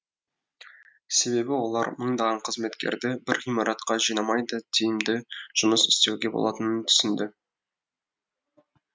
себебі олар мыңдаған қызметкерді бір ғимаратқа жинамай да тиімді жұмыс істеуге болатынын түсінді